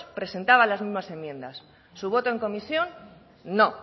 presentaba las mismas enmiendas su voto en comisión no